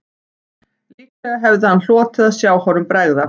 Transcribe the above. Líklega hefði hann hlotið að sjá honum bregða